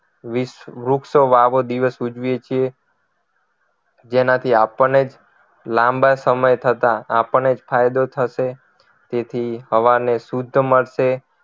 વીસ વૃક્ષો વાવો દિવસ ઉજવીએ છીએ જેનાથી આપણને જ લાંબા સમય થતા આપણને જ ફાયદો થશે તેથી હવાને શુદ્ધ મળશે